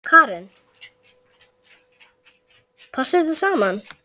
Karen: Passar þetta saman?